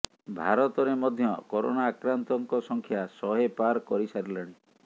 ଭାରତରେ ମଧ୍ୟ କରୋନା ଆକ୍ରାନ୍ତଙ୍କ ସଂଖ୍ୟା ଶହେ ପାର୍ କରିସାରିଲାଣି